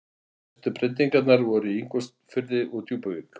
Mestu breytingarnar voru í Ingólfsfirði og Djúpuvík.